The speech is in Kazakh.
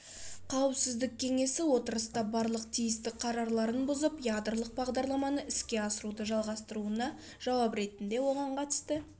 қауіпсіздік кеңесі отырыста барлық тиісті қарарларын бұзып ядролық бағдарламаны іске асыруды жалғастыруына жауап ретінде оған қатысты